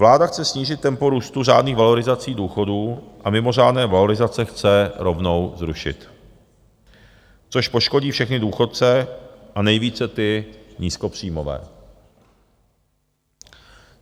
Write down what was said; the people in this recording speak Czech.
Vláda chce snížit tempo růstu řádných valorizací důchodů a mimořádné valorizace chce rovnou zrušit, což poškodí všechny důchodce a nejvíce ty nízkopříjmové.